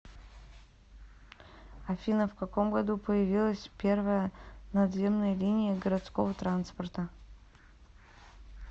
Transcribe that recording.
афина в каком году появилась первая надземная линия городского транспорта